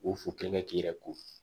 U fo kelen kɛ k'i yɛrɛ ko